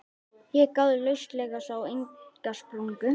Ég gáði lauslega, sá enga sprungu.